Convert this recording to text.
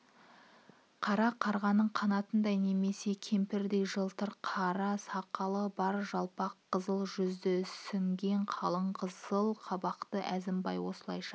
қара қарғаның қанатындай немесе көмірдей жылтыр қара сақалы бар жалпақ қызыл жүзді ісінген қалың қызыл қабақты әзімбай осылайша